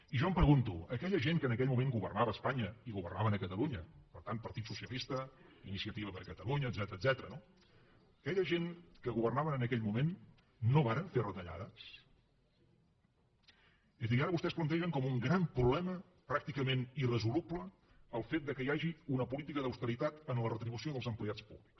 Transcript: i jo em pregunto aquella gent que en aquell moment governava espanya i governaven a catalunya per tant partit socialista iniciativa per catalunya etcètera aquella gent que governaven en aquell moment no varen fer retallades és a dir ara vostès plantegen com un gran problema pràcticament irresoluble el fet que hi hagi una política d’austeritat en la retribució dels empleats públics